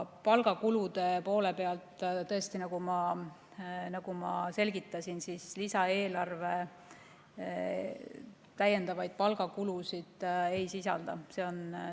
Palgakulude poole pealt, tõesti, nagu ma selgitasin, lisaeelarve täiendavaid palgakulusid ei sisalda.